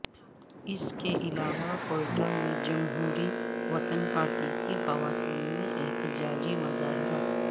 اس کے علاوہ کوئٹہ میں جمہوری وطن پارٹی کی خواتین نے احتجاجی مظاہرہ